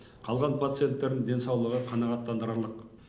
қалған пациенттердің денсаулығы қанағаттандырарлық